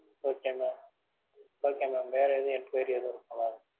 okay mam okay mam வேற எதும் enquiry எதுவும் இருக்கா?